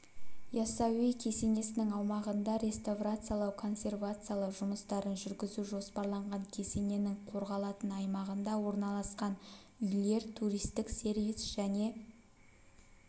яссауи кесенесінің аумағында реставрациялау-консервациялау жұмыстарын жүргізу жоспарланған кесененің қорғалатын аймағында орналасқан үйлер туристік сервис және